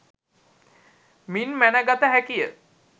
මින් මැනගත හැකිය